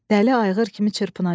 Dəli ayğır kimi çırpınacaq.